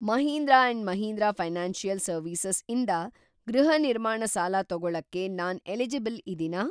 Mahindra and Mahindra financial services ಇಂದ ಗೃಹ ನಿರ್ಮಾಣ ಸಾಲ ತೊಗೊಳಕ್ಕೆ ನಾನ್‌ ಎಲಿಜಿಬಲ್‌ ಇದೀನಾ?